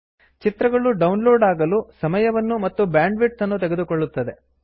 ಚಿತ್ರಗಳು download ಆಗಲು ಸಮಯವನ್ನು ಮತ್ತು ಬ್ಯಾಂಡ್ ವಿಡ್ಥ್ ಅನ್ನು ತೆಗೆದುಕೊಳ್ಳುತ್ತವೆ